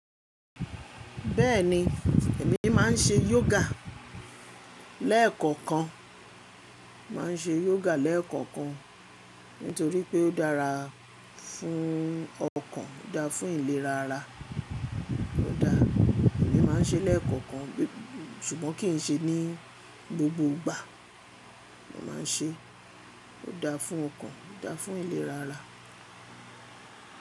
Bẹ́ẹ̀ni, èmi máà ń ṣe yoga lẹ́ẹ̀kọ̀kan. Màá ń ṣe yoga lẹ́ẹ̀kọ̀kan nítorí pé ó dára fún ọkàn, ó dáa fún ìlera ara. Ó dáa, èmi máà ń ṣe lẹ́ẹ̀kọ̀kan ṣùgbọ́n kì ń ṣe ní gbogbo ìgbà. Mo máa ń ṣe, ó dáa fún ọkàn, ó dáa fún ìlera ara.